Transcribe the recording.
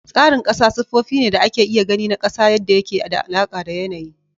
Tsarin ƙasa sifofi ne da ake iya gani na ƙasa da yadda yake da alaƙa da yanayi